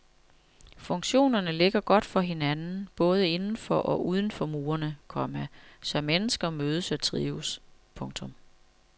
Funktionerne ligger godt for hinanden både inden for og uden for murene, komma så mennesker mødes og trives. punktum